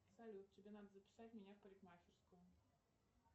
салют тебе надо записать меня в парикмахерскую